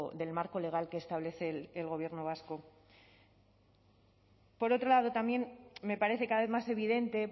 del marco legal que establece el gobierno vasco por otro lado también me parece cada vez más evidente